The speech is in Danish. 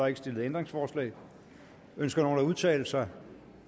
ikke stillet ændringsforslag ønsker nogen at udtale sig